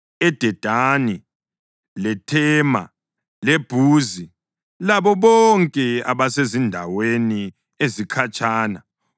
eDedani, leThema leBhuzi labo bonke abasezindaweni ezikhatshana;